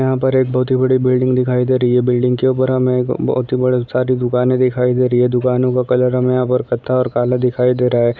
यहाँ पर एक बहुत ही बड़ी बिल्डिंग दिखाई दे रही है बिल्डिंग के ऊपर हमें बहुत सारी दुकाने दिखाई दे रही है दुकानों का कलर कथा और काला दिखाई दे रहा है